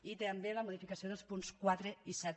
i també la modificació dels punts quatre i set